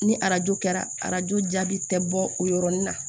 Ni arajo kɛra arajo jaabi tɛ bɔ o yɔrɔnin na